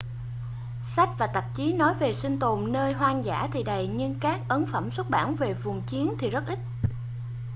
sách và tạp chí nói về sinh tồn nơi hoang dã thì đầy nhưng các ấn phẩm xuất bản về vùng chiến thì rất ít